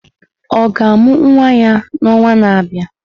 Ọ ga-amụ nwa ya n'ọnwa na-abịa?